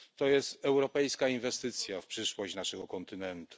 To jest europejska inwestycja w przyszłość naszego kontynentu.